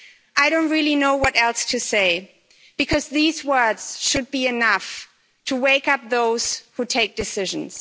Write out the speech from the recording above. I don't really know what else to say because these words should be enough to wake up those who take decisions.'